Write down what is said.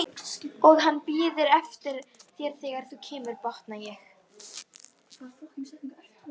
Og hann bíður eftir þér þegar þú kemur, botna ég.